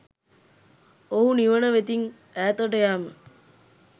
ඔහු නිවන වෙතින් ඈතට යෑම